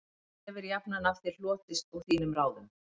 Illt hefir jafnan af þér hlotist og þínum ráðum